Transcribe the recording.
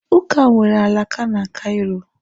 Ụka nwere alaka na Caịro